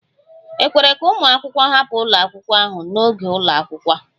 E kwere ka ụmụ akwụkwọ hapụ ụlọ akwụkwọ ahụ n'oge ụlọ akwụkwọ?